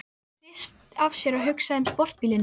Getur ekki hrist af sér hugsanirnar um sportbílinn.